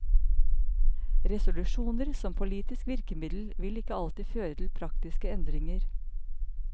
Resolusjoner som politisk virkemiddel vil ikke alltid føre til praktiske endringer.